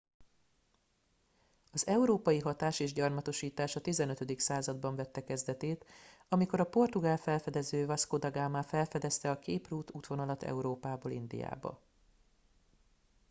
az európai hatás és gyarmatosítás a 15. században vette kezdetét amikor a portugál felfedező vasco da gama felfedezte a cape route útvonalat európából indiába